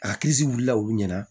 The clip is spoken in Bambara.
A wulila olu ɲɛna